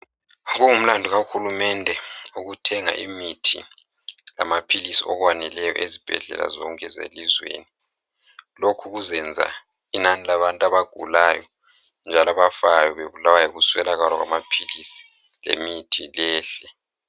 Kungumlandu kahulumende ukuthenga imithi lamaphilisi okwaneleyo ezibhedlela zonke zelizweni. Lokhu kuzenza inani labantu abagulayo njalo abafayo bebulawa yikuswelakala kwamaphilisi lemithi kwehle.